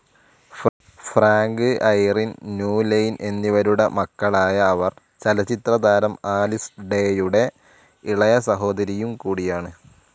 Frank, Irene Newlin എന്നിവരുടെ മക്കളായ അവർ ചലച്ചിത്രതാരം ആലിസ് ഡേയുടെ ഇളയ സഹോദരിയുംകൂടിയാണ്.